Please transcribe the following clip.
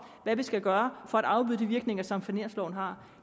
hvad vi skal gøre for at afbøde de virkninger som finansloven har